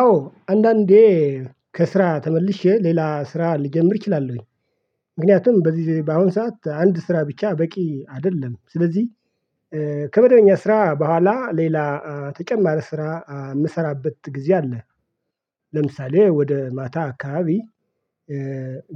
አዎ አንዳንዴ ከስራ ተመልሼ ሌላ ስራ ልጀምር ችላሉሁኝ። ምክንያቱም በዚህ በአሁን ሰዓት አንድ ስራ ብቻ በቂ አይደለም። ስለዚህ ከመደበኛ ስራ በኋላ ሌላ ተጨማሪ ስራ የምሰራበት ጊዜ አለ። ለምሳሌ ወደ ማታ አካባቢ